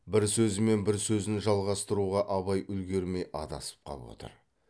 бір сөзімен бір сөзін жалғастыруға абай үлгірмей адасып қап отыр